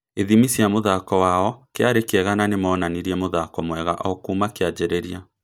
Ithimi cia mũthako wao kĩarĩ kĩega na nĩmonanirie mũthako mwega o kuma kĩanjĩrĩria